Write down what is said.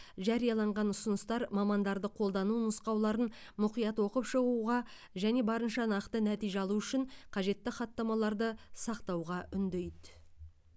жарияланған ұсыныстар мамандарды қолдану нұсқауларын мұқият оқып шығуға және барынша нақты нәтиже алу үшін қажетті хаттамаларды сақтауға үндейді